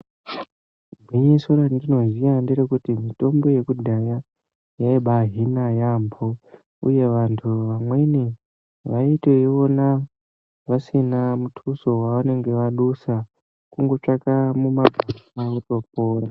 Gwinyiso randinoziya nderekuti mitombo yekudhaya yaibaahina yaambo uye vantu vamweni vaitoiona vasina mutuso wavanenge vadusa, kungotsvake muma... kwaakutopora.